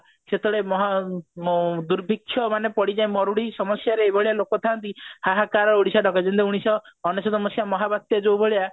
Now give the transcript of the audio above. ସେତେବେଳେ ମହା ଉଁ ଦୁର୍ଭିକ୍ଷ ମାନେ ପଡି ଯାଏ ମରୁଡି ସମସ୍ୟାରେ ଏଇଭଳିଆ ଲୋକ ଥାନ୍ତି ହାହାକାର ଓଡିଶା ଲୋକ ଯେମତି ଓଡିଶା ଅନେଶୋତ ମସିହା ମହାବାତ୍ୟା ଯୋଉଭଳିଆ